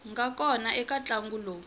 nga kona eka ntlangu lowu